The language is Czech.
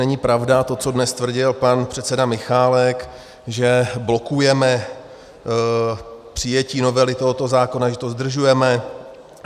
Není pravda to, co dnes tvrdil pan předseda Michálek, že blokujeme přijetí novely tohoto zákona, že to zdržujeme.